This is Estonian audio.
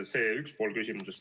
See on üks pool küsimusest.